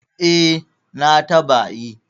eh na taba yi